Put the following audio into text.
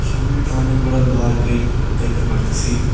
সামনে একটা অনেক বড় লোহার গেট দেখতে পারতাছি।